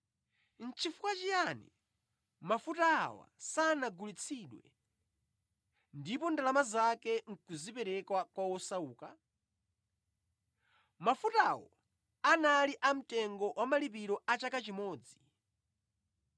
“Nʼchifukwa chiyani mafuta awa sanagulitsidwe ndipo ndalama zake nʼkuzipereka kwa osauka?” Mafutawo anali a mtengo wa malipiro a chaka chimodzi.